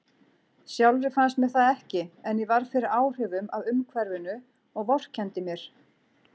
Sjálfri fannst mér það ekki, en ég varð fyrir áhrifum af umhverfinu og vorkenndi mér.